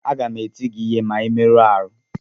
Aga m eti gị ihe ma ị merụọ ahụ